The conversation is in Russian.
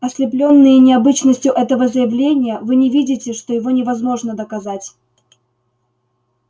ослеплённые необычностью этого заявления вы не видите что его невозможно доказать